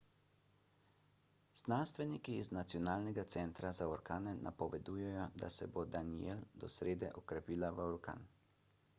znanstveniki iz nacionalnega centra za orkane napovedujejo da se bo danielle do srede okrepila v orkan